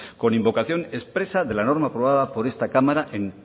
con invocación expresa de la norma aprobada por esta cámara en